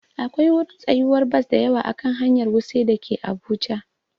Akwai wurin tsayuwar bas dayawa a kan hanyar wuse dake abuja